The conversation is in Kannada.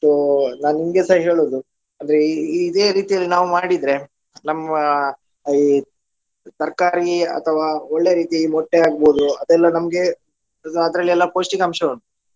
So ನಾನು ನಿಮ್ಗೆಸ ಹೇಳುವುದು ಅಂದ್ರೆ ಇ~ ಇ~ ಇದೇ ರೀತಿಯಲ್ಲಿ ನಾವು ಮಾಡಿದ್ರೆ ನಮ್ಮ ಈ ತರ್ಕಾರಿ ಅಥವಾ ಒಳ್ಳೆ ರೀತಿ ಮೊಟ್ಟೆ ಆಗ್ಬೋದು ಅದೆಲ್ಲಾ ನಮ್ಗೆ ಅದ್ರಲ್ಲಿ ಎಲ್ಲಾ ಪೌಷ್ಟಿಕಾಂಶ ಉಂಟು.